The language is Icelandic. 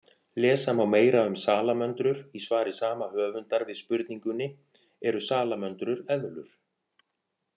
Lesa má meira um salamöndrur í svari sama höfundar við spurningunni Eru salamöndrur eðlur?